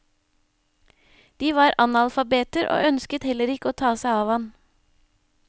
De var analfabeter, og ønsket heller ikke å ta seg av ham.